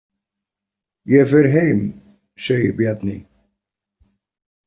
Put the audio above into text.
Ég fer heim, segir Bjarni.